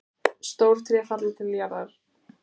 Stór tré falla til jarðar.